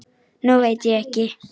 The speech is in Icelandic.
Nú veit ég ekki.